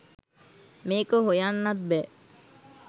මේක හොයන්නත් බෑ.